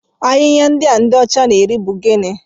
Ahịhịa ndị a ndị ọcha na-eri bụ gịnị?